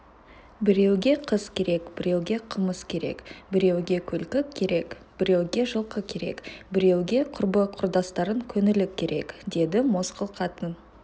біреуге қыз керек біреуге қымыз керек біреуге күлкі керек біреуге жылқы керек біреуге құрбы-құрдастың көңілі керек деді мосқыл қатын